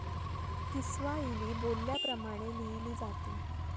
Kiswahili बोलल्या प्रमाणे लिहिली जाते.